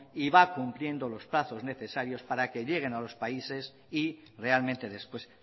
y va cumpliendo los plazos necesarios para que lleguen a los países y realmente después